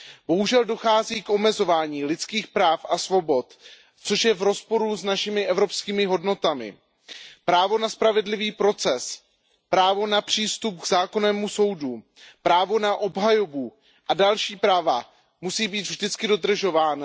Bohužel dochází k omezování lidských práv a svobod, což je v rozporu s našimi evropskými hodnotami. Právo na spravedlivý proces, právo na přístup k zákonnému soudu, právo na obhajobu a další práva musí být vždy dodržována.